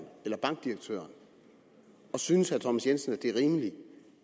eller bankdirektøren og synes herre thomas jensen at det er rimeligt